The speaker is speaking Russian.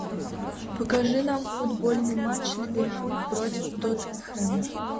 покажи нам футбольный матч ливерпуль против тоттенхэма